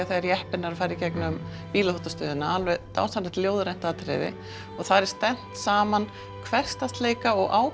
þegar jeppinn er að fara í gegnum bílaþvottastöðina alveg dásamlega ljóðrænt atriði og þar er stefnt saman hversdagsleika og